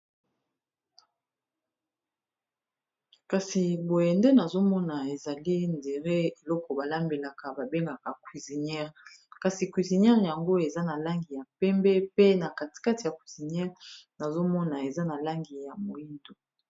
Kasi boyende nazomona ezali ndere eloko balambelaka babengaka cusiniere kasi cuisiniere yango eza na langi ya pembe pe na katikate ya cuisiniere nazomona eza na langi ya moyindo